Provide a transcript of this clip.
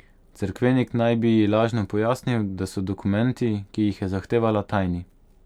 Cerkvenik naj bi ji lažno pojasnil, da so dokumenti, ki jih je zahtevala, tajni.